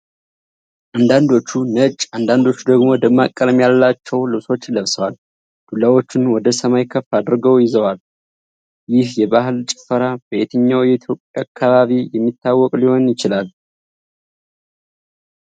አንዳንዶቹ ነጭ፣ አንዳንዶቹ ደግሞ ደማቅ ቀለም ያላቸው ልብሶችን ለብሰዋል። ዱላዎቹን ወደ ሰማይ ከፍ አድርገው ይይዛሉ። ይህ የባሕል ጭፈራ በየትኛው የኢትዮጵያ አካባቢ የሚታወቅ ሊሆን ይችላል?